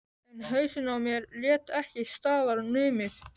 En hausinn á mér lét ekki staðar numið.